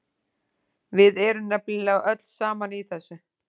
Við erum nefnilega öll saman í þessu.